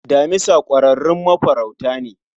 Damisa kwararrun mafaruta ne